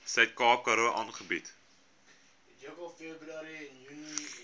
suidkaap karoo aangebied